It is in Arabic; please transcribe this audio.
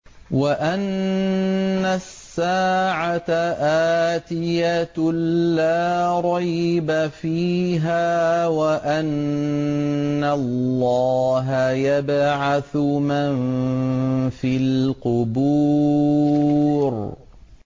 وَأَنَّ السَّاعَةَ آتِيَةٌ لَّا رَيْبَ فِيهَا وَأَنَّ اللَّهَ يَبْعَثُ مَن فِي الْقُبُورِ